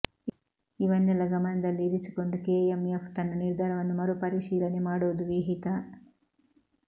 ಇವನ್ನೆಲ್ಲ ಗಮನದಲ್ಲಿ ಇರಿಸಿಕೊಂಡು ಕೆಎಂಎಫ್ ತನ್ನ ನಿರ್ಧಾರವನ್ನು ಮರುಪರಿಶೀಲನೆ ಮಾಡುವುದು ವಿಹಿತ